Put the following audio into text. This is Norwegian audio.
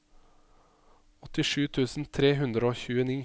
åttisju tusen tre hundre og tjueni